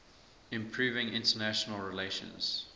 improving international relations